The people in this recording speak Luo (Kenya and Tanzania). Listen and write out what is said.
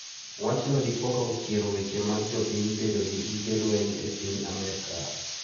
Wachno dipoka ochiero weche mag jopiny bedo gi gige lweny e piny Amerka.